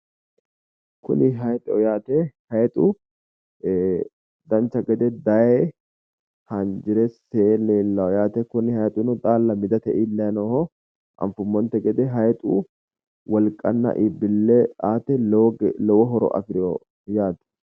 Kuni hayiixeho yaate hayiixu dancha gede daye haanjire see leellawo yate kuni hayiixino xaalla midate iillayi nooho anfummonte gede hayiixu wolqanna iibbille aate lowo horo afireyo yaate.